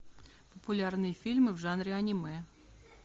популярные фильмы в жанре аниме